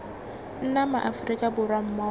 nna ma aforika borwa mmogo